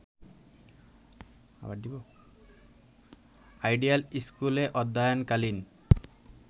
ideal স্কুলে অধ্যয়নকালীন